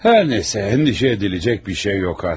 Hər nə isə, narahat olmağa bir şey yoxdur artıq.